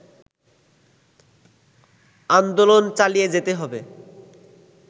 আন্দোলন চালিয়ে যেতে হবে